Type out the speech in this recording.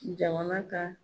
Jamana ka